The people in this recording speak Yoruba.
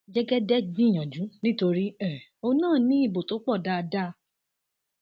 jẹgẹdẹ gbìyànjú nítorí um òun náà ní ibo tó pọ dáadáa